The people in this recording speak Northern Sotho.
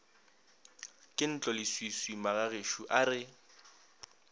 ke ntloleswiswi magagešo a re